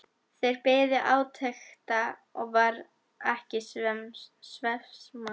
Þeir biðu átekta og varð ekki svefnsamt.